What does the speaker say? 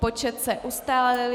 Počet se ustálil.